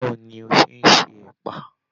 Báwo ní o ṣe n ṣe ẹpa?